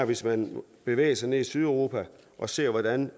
hvis man bevæger sig ned til sydeuropa og ser hvordan